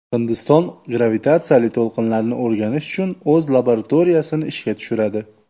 Hindiston gravitatsiyali to‘lqinlarni o‘rganish uchun o‘z laboratoriyasini ishga tushiradi.